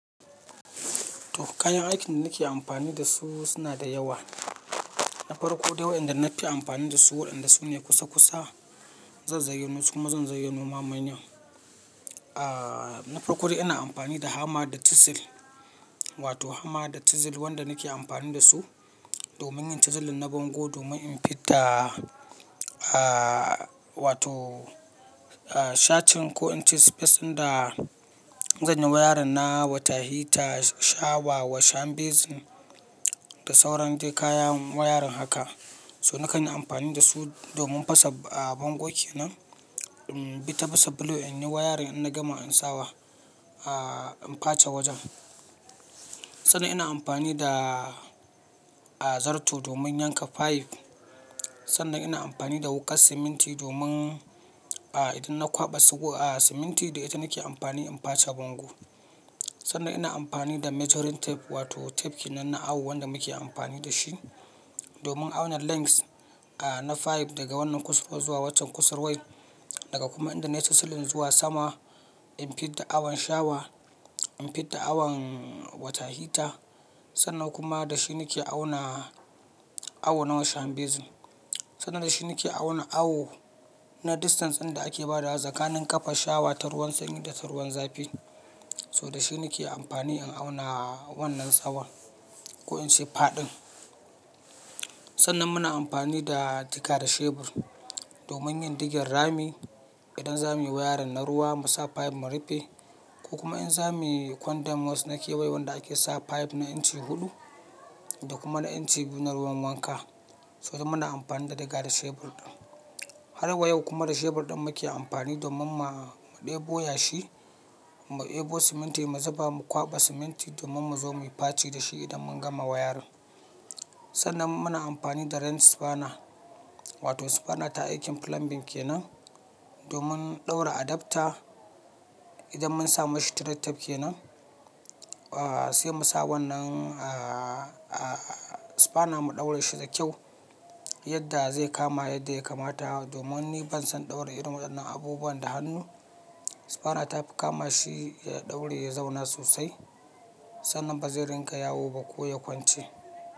To kayan aikin da nake amfani da su suna da yawa na farko dai wayan da na fi amfani da su waɗanda su ne kusa kusa, zan zayyano su kuma zan zayyano ma manyan, Ah-- na farko dai ina amfani da hammer da chisel wato hammer da chisel wanda nake amfani da su domin yin chiseling na bango domin in fidda ah wato ah shacin ko in ce space ɗin da zan yi wayarin na water heater, shawa, wash hand basin da sauran duk kayan wayarin haka. So nakan yi amfani da su domin fasa a bango kenan, mm bi ta fasa block in yi wayarin ina gama in sa ah in face wajen. Sannan ina amfani da ah zarto domin yanka pipe. Sannan ina amfani da wuƙar siminti domin ah idan na kwaɓa sugo ah siminti da ita nake amfani in face bango. Sannan ina amfani da measuring tape wato tape kenan na awo wanda muke amfani da shi domin auna length ah na pipe daga wannan kusurwa zuwa waccan kusurwar, daga kuma inda na yi chiseling zuwa sama in fidda awon shawa, in fidda awon water heater. Sannan kuma da shi nake auna, awo na wash hand basin. Sannan da shi nake auna awo na distance inda ake bada tsakanin ƙafa shawa ta ruwan sanyi da ta ruwan zafi. So da shi nake amfani in auna wannan tsawan ko in ce faɗin. Sannan muna amfani da diga da shebur domin yin digar rami, idan za muyi wayarin na ruwa mu sa pipe mu rufe ko kuma in za muyi condam waste na kewaye wanda ake sa pipe na inci huɗu da kuma na inci biyu na ruwan wanka. So muna amfani da diga da shebur din. Har wa yau kuma da shebur ɗin muke amfani domin ma ɗebo yashi, mu ɗebo siminti mu zuba mu kwaɓa siminti domin mu zo muyi faci da shi idan mun gama wayarin. Sannan muna amfani da wrench spanner wato spanner ta aikin plumbing kenan domin ɗaura adapter idan mun sa mashi thread tape kenan ah sai mu sa wannan- ah ah spanner mu ɗaura shi da kyau yadda zai kama yadda ya kamata. Domin ni ban son ɗaura irin waɗannan abubuwa da hannu. Spanner tafi kama shi ya ɗauri ya zauna sosai sannan ba zai ringa yawo ba ko ya kwance.